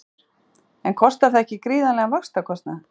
Sigríður: En kostar það ekki gríðarlegan vaxtakostnað?